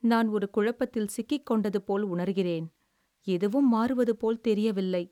"நான் ஒரு குழப்பத்தில் சிக்கிக்கொண்டது போல் உணர்கிறேன். எதுவும் மாறுவது போல் தெரியவில்லை."